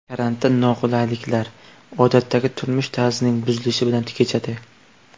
Karantin noqulayliklar, odatdagi turmush tarzining buzilishi bilan kechadi.